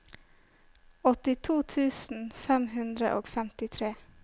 åttito tusen fem hundre og femtitre